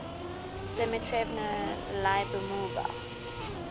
dmitrevna lyubimova